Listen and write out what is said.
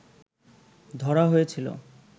ধরা হয়েছিল